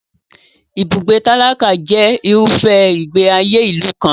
Ibùgbé tálákà jẹ irúfẹ́ ìgbé ayé ìlú kan.